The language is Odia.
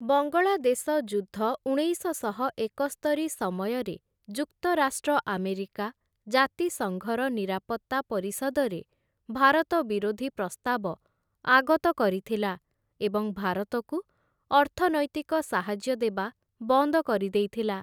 ବଙ୍ଗଳାଦେଶ ଯୁଦ୍ଧ ଉଣେଇଶଶହ ଏକସ୍ତରି ସମୟରେ ଯୁକ୍ତରାଷ୍ଟ୍ର ଆମେରିକା ଜାତିସଙ୍ଘର ନିରାପତ୍ତା ପରିଷଦରେ ଭାରତ ବିରୋଧୀ ପ୍ରସ୍ତାବ ଆଗତ କରିଥିଲା ଏବଂ ଭାରତକୁ ଅର୍ଥନୈତିକ ସାହାଯ୍ୟ ଦେବା ବନ୍ଦ କରିଦେଇଥିଲା ।